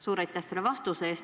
Suur aitäh selle vastuse eest!